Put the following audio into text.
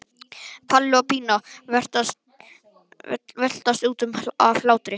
Palli og Pína veltast um af hlátri.